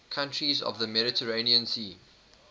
countries of the mediterranean sea